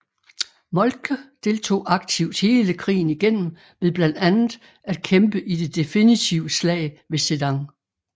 Moltke deltog aktivt hele krigen igennem ved blandt andet at kæmpe i det definitive slag ved Sedan